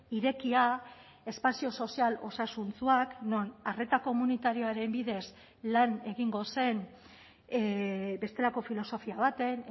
irekia espazio sozial osasuntsuak non arreta komunitarioaren bidez lan egingo zen bestelako filosofia baten